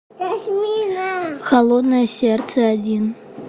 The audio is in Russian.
холодное сердце один